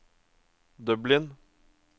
Dublin